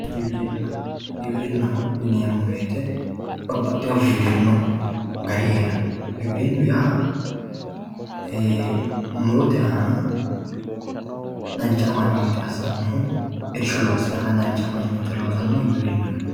giwirinna. giwirinnaho yineemmo woyiite babbaxxewoo giwirinnu gari heeranno giwirinnu yaa murote aana dancha amanyoote assannohu irshu aana dancha amanyoote loosannoha giwirinnaho yinanni.